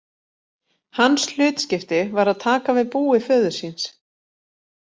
Hans hlutskipti var að taka við búi föður síns.